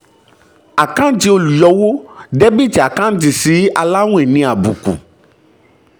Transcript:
àkáǹtì olùyọwó debiti sí sí aláwìn ní àbùkù